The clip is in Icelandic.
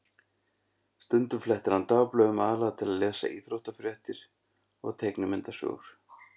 Stundum flettir hann dagblöðunum, aðallega til að lesa íþróttafréttir og teiknimyndasögur.